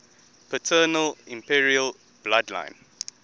paternal imperial bloodline